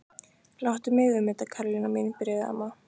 Láttu mig um þetta Karólína mín byrjaði amma.